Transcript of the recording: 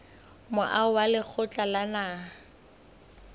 moaho wa lekgotla la naha